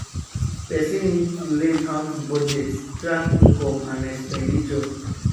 Person need to learn how to budget, track income and expenditure